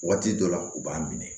Waati dɔ la u b'a minɛ